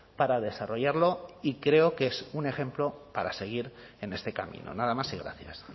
para desarrollarlo y creo que es un ejemplo para seguir en este camino nada más y gracias